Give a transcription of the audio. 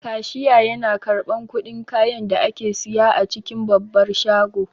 Kashiya yana karɓan kuɗin kayan da ake siya a cikin babbar shago